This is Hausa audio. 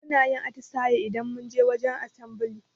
Munayin atisaye idan munje wajen asambali